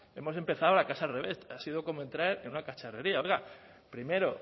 hemos empezado la casa al revés ha sido como entrar en una cacharrería oiga primero